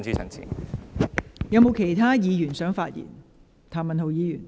是否有其他議員想發言？